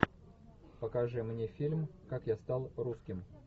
покажи мне фильм как я стал русским